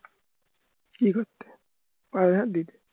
কি করতে দিতে